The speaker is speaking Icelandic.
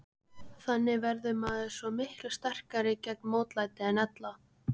Þannig verður maður svo miklu sterkari gegn mótlæti en ella.